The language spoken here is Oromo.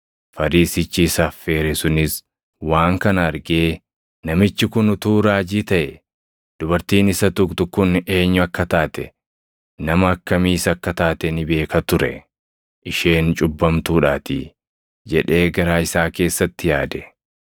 Fariisichi isa affeere sunis waan kana argee, “Namichi kun utuu raajii taʼee, dubartiin isa tuqxu kun eenyu akka taate, nama akkamiis akka taate ni beeka ture; isheen cubbamtuudhaatii” jedhee garaa isaa keessatti yaade.